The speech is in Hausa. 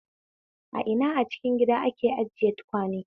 A ina a cikin gida ake ajiye tukwane?